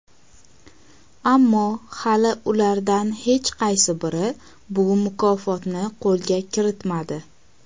ammo hali ulardan hech qaysi biri bu mukofotni qo‘lga kiritmadi.